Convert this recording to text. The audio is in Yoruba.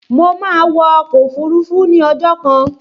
Mo máa wọ ọkọ̀ òfurufú ní ọjọ́ kan